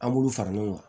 An b'ulu fara ɲɔgɔn kan